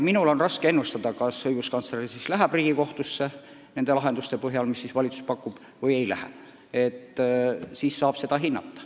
Minul on raske ennustada, kas õiguskantsler läheb Riigikohtusse nende lahenduste põhjal, mis valitsus pakub, või ei lähe.